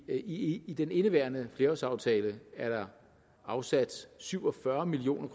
i i den indeværende flerårsaftale er der afsat syv og fyrre million